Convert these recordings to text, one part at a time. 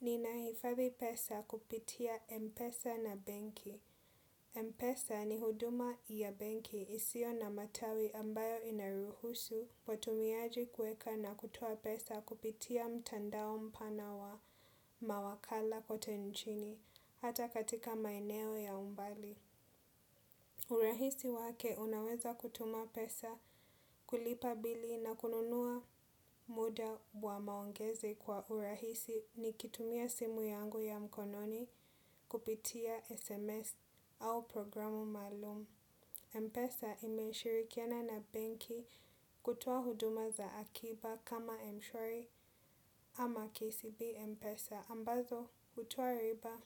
Nina hifadhi pesa kupitia Mpesa na benki. Mpesa ni huduma ya benki isiyo na matawi ambayo inaruhusu watumiaji kuweka na kutoa pesa kupitia mtandao mpana wa mawakala kote nchini hata katika maeneo ya umbali. Urahisi wake unaweza kutuma pesa kulipa bili na kununua muda wa maongezi kwa urahisi nikitumia simu yangu ya mkononi kupitia SMS au programu maalum. Mpesa imeshirikiana na benki kutoa huduma za akiba kama mshwari ama KCB Mpesa ambazo hutua riba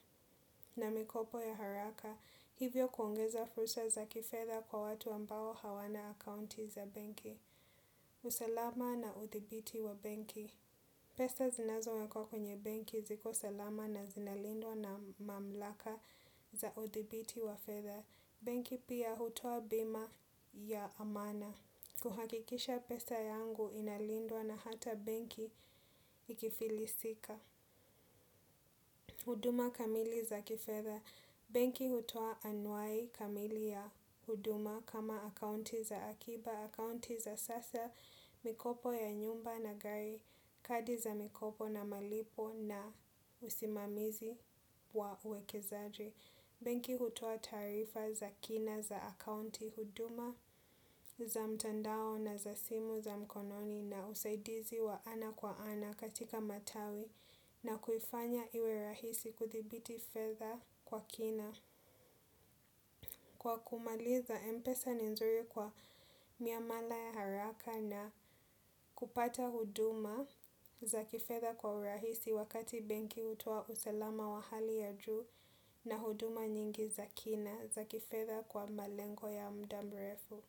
na mikopo ya haraka hivyo kuongeza fursa za kifedha kwa watu ambao hawana akaunti za banki. Usalama na uthibiti wa benki pesa zinazo wekwa kwenye benki ziko salama na zinalindwa na mamlaka za udhibiti wa fedha. Benki pia hutua bima ya maana. Kuhakikisha pesa yangu inalindwa na hata benki ikifilisika. Huduma kamili za kifedha. Benki hutoa anwai kamili ya huduma kama akaunti za akiba, akaunti za sasa mikopo ya nyumba na gari kadi za mikopo na malipo na usimamizi wa uwekezaji. Benki hutoa taarifa za kina za akaunti huduma za mtandao na za simu za mkononi na usaidizi wa ana kwa ana katika matawi na kuifanya iwe rahisi kuthibiti fedha kwa kina. Kwa kumaliza Mpesa ni nzuri kwa miamala ya haraka na kupata huduma za kifedha kwa urahisi wakati benki hutoa usalama wa hali ya juu na huduma nyingi za kina za kifedha kwa malengo ya muda mrefu.